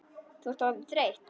Þú ert orðin þreytt.